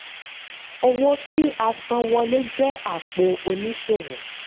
owó tí-a-san-wọ́lé jẹ́ apò oníṣòwò.